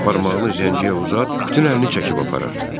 Barmağını zəngiyə uzat, bütün əlini çəkib aparar.